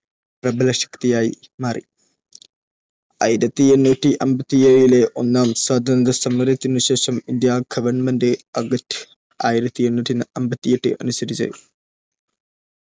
പ്രബലശക്തിയായി മാറി. ആയിരത്തി എണ്ണൂറ്റി അമ്പത്തി ഏഴ് ലെ ഒന്നാം സ്വാതന്ത്ര്യസമരത്തിനുശേഷം, ഇന്ത്യാ ഗവൺമെന്റ് ആക്റ്റ്ആയിരത്തി എണ്ണൂറ്റി അമ്പത്തി എട്ട് അനുസരിച്ച്,